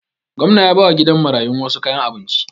Gwamnan ya bawa gidan marayun wasu kayan abinci